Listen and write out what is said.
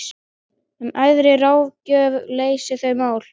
En æðri ráðgjöf leysir þau mál.